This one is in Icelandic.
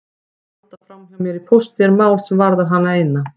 Að halda framhjá mér í pósti er mál sem varðar hana eina.